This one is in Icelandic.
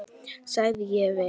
sagði ég við